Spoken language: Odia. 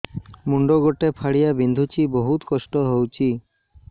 ମୁଣ୍ଡ ଗୋଟେ ଫାଳିଆ ବିନ୍ଧୁଚି ବହୁତ କଷ୍ଟ ହଉଚି